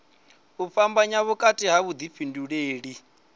u fhambanya vhukati ha vhuḓifhinduleli